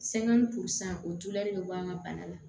Sɛŋɛn pusan o tulu bɛ bɔ an ka bana la